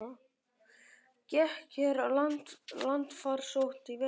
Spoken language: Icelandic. Gekk hér landfarsótt í vetur?